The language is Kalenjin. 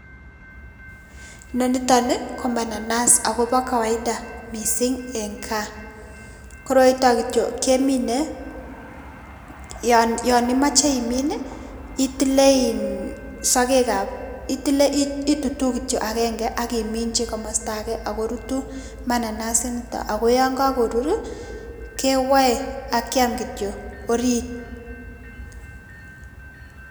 Inoniton nii ko mananas ako bo kawaida missing en gaa koroiton nkityuok kemine yon imoche iminii itile sokek ab itile itutuu kityok agenge ak iminchi komosto age ako rutu mananas initon ako yon kokorurii kewoe ak kiam kityok orit.